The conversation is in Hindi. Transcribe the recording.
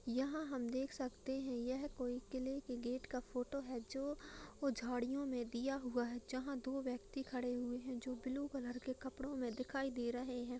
यहाँ हम देख सकते हैं यह किले के गेट का फोटो है जो ह झाड़ियों में दिया हुआ है जहाँ दो व्यक्ति खड़े हुए हैं जो ब्लू कलर के कपड़ो में दिखाई दे रहे हैं।